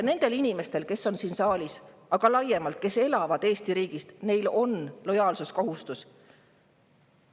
Nendel inimestel, kes on siin saalis, aga ka laiemalt, neil, kes elavad Eesti riigis, on lojaalsuskohustus.